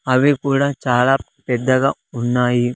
అవి కూడా చాలా పెద్దగా ఉన్నాయి.